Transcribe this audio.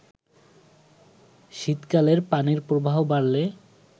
শীতকালে পানির প্রবাহ বাড়লে